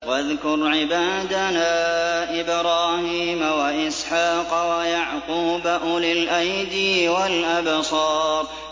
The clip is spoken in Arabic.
وَاذْكُرْ عِبَادَنَا إِبْرَاهِيمَ وَإِسْحَاقَ وَيَعْقُوبَ أُولِي الْأَيْدِي وَالْأَبْصَارِ